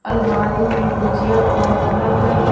अलमारी में भुजिया और अलग अलग--